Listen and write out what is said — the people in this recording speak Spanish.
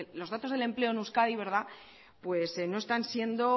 los datos del empleo en euskadi no están siendo